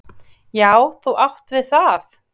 """Já, þú átt við það!"""